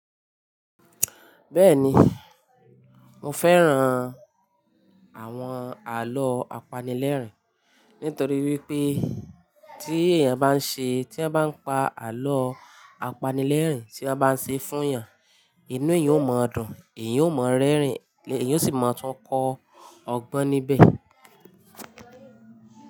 Bẹ́ẹ̀ni, mo fẹ́ran àwọn àlọ́ apanilẹ́rìn nítorí wípé tí èèyàn bá ń ṣe, tí an bá ń pa àlọ́ apanilẹ́rìn, tí won bá ń ṣe fún èèyàn, inú èèyàn ó máa dùn, èèyàn ó máa rẹ́rìn, èèyàn ó sì máa tún kọ́ ọgbọ́n níbẹ̀